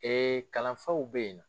Ee kalanfaw bɛ yen na